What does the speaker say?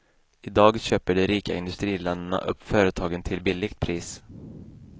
I dag köper de rika industriländerna upp företagen till billigt pris.